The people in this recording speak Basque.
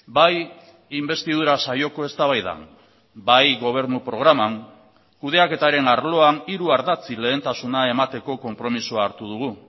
bai inbestidura saioko eztabaidan bai gobernu programan kudeaketaren arloan hiru ardatzi lehentasuna emateko konpromisoa hartu dugu